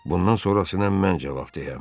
Bundan sonrasına mən cavabdehəm.